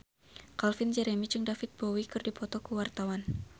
Calvin Jeremy jeung David Bowie keur dipoto ku wartawan